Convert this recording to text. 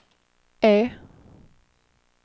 E